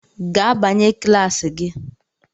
Gaa banye kilasi gi!